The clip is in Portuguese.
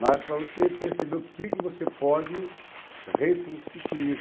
Mas para você perceber o que que você pode reconstituir.